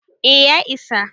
eh ya isa